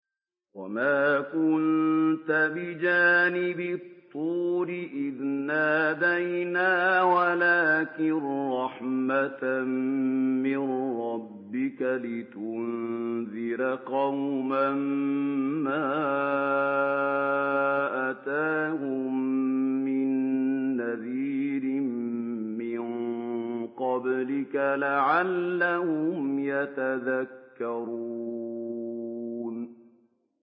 وَمَا كُنتَ بِجَانِبِ الطُّورِ إِذْ نَادَيْنَا وَلَٰكِن رَّحْمَةً مِّن رَّبِّكَ لِتُنذِرَ قَوْمًا مَّا أَتَاهُم مِّن نَّذِيرٍ مِّن قَبْلِكَ لَعَلَّهُمْ يَتَذَكَّرُونَ